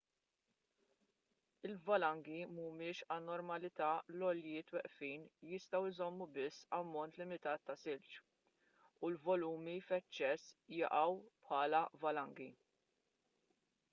il-valangi mhumiex anormalità l-għoljiet weqfin jistgħu jżommu biss ammont limitat ta' silġ u l-volumi f'eċċess jaqgħu bħala valangi